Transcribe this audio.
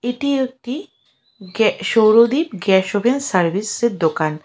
এটি একটি গ্যা সৌরদ্বীপ গ্যাস ওভেন সার্ভিসের দোকান।